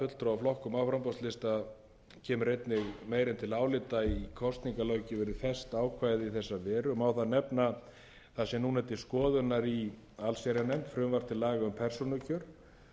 framboðslista kemur einnig meira en til álita í kosningalöggjöfinni fast ákvæði í þessa veru má þar til nefna það sem núna er til skoðunar í allsherjarnefnd frumvarp til laga um persónukjör prófkjör